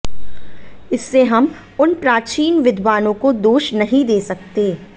इससे हम उन प्राचीन विद्वानों को दोष नहीं दे सकतें